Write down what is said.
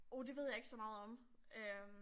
Oh det ved jeg ikke så meget om øh